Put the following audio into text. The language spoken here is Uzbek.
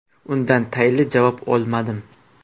Undan tayinli javob olmadim.